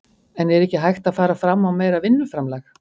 En er ekki hægt að fara fram á meira vinnuframlag?